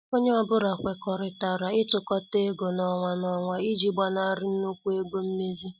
Onye ọ bụla kwekọrịtara itukota ego n ọnwa n ọnwa iji gbanari nnukwu ego mmezi.